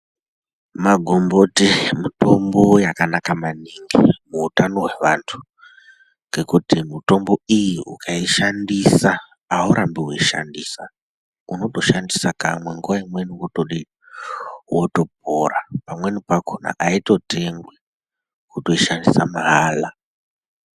Ma gomboti mutombo yakanaka maningi mu utano hwe vantu ngekuti mitombo iyi ukai shandisa aurambi wei shandisa unoto sandisa kamwe nguva imweni wotodi woto pora pamweni pakona aito tengwi wotoi shandisa mahala.